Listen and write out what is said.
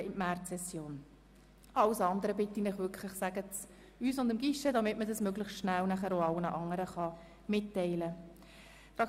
Ich bitte Sie, alles Weitere wirklich frühzeitig dem Guichet oder uns zu melden, damit wir es auch allen anderen möglichst schnell mitteilen können.